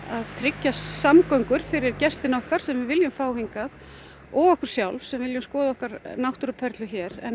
tryggja samgöngur fyrir gestina okkar sem við viljum fá hingað og okkur sjálf sem viljum skoða okkar náttúruperlu hér en